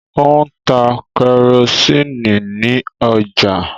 O ń tá kerosiini ní ọjà.